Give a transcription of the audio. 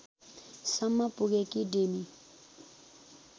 सम्म पुगेकी डेमी